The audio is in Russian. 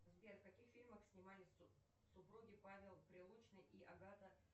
сбер в каких фильмах снимались супруги павел прилучный и агата